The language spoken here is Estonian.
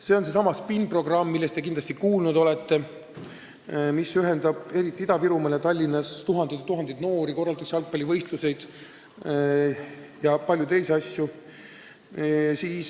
See on seesama SPIN-programm, millest te kindlasti kuulnud olete, mis ühendab eriti Ida-Virumaal ja Tallinnas tuhandeid ja tuhandeid noori, korraldatakse jalgpallivõistlusi ja paljusid teisi asju.